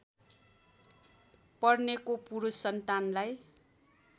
पर्नेको पुरुष सन्तानलाई